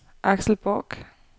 Axel Bork